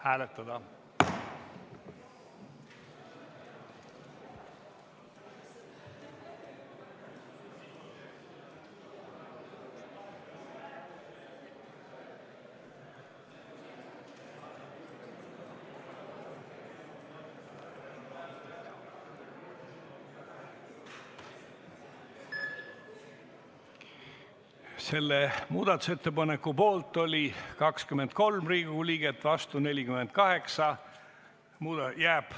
Hääletustulemused Selle muudatusettepaneku poolt oli 23 Riigikogu liiget, vastu 48.